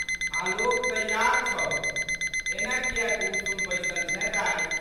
आलोक तैयार छौ। एना कियै गुमसुम बैसल छेँ दाइ?